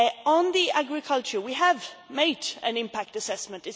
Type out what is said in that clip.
On agriculture we have made an impact assessment.